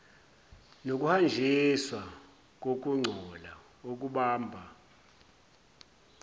nokuhanjiswa kokungcola okubamba